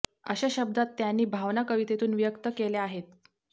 अशा शब्दांत त्यांनी भावना कवितेतून व्यक्त केल्या आहेत